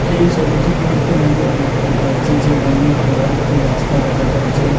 এই ছবিটির মইধ্যে আমি দেখতে পাচ্ছি যে অনেক বড়ো একটি রাস্তা দেখা যাচ্ছে।